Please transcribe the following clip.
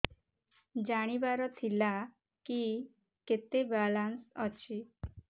ଜାଣିବାର ଥିଲା କି କେତେ ବାଲାନ୍ସ ଅଛି